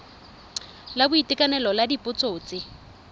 la boitekanelo la dipotso tse